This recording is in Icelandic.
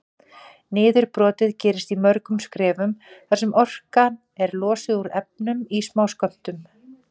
Niðurbrotið gerist í mörgum skrefum þar sem orkan er losuð úr efnunum í smáskömmtum.